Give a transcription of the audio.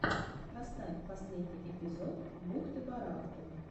поставь последний эпизод бухты барахты